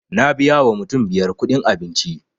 Na biya wa mutum biyar kuɗin abinci